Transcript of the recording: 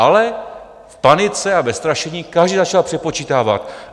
Ale v panice a ve strašení každý začal přepočítávat.